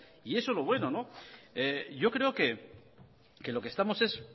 y eso es lo bueno yo creo que lo que estamos es